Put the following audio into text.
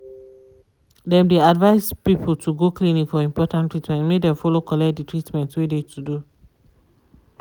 dem de advise people to go clinic for important treatment make dem follow collect de treatment wey de to do.